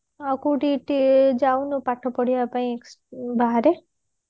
ଆଉ କୋଉତି ଯାଇନୁ ପାଠ ପଢିବା ପାଇଁ ବାହାରେ